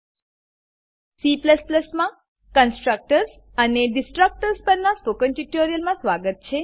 C માં constructors constructors અને destructors destructors પરનાં સ્પોકન ટ્યુટોરીયલમાં સ્વાગત છે